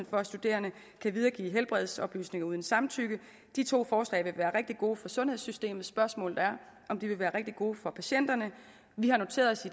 for at studerende kan videregive helbredsoplysninger uden samtykke de to forslag vil være rigtig gode for sundhedssystemet spørgsmålet er om de vil være rigtig gode for patienterne vi har noteret os